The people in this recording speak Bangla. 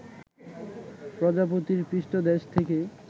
প্রজাপতির পৃষ্ঠদেশ থেকে